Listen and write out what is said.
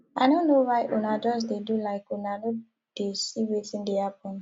i no know why una just dey do like una no dey see wetin dey happen